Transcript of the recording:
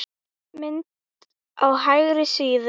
Mynd á hægri síðu.